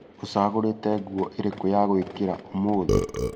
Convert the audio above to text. Ũcagũrĩte ngũo ĩrĩkũ ya gwĩkĩra ũmũhtĩ?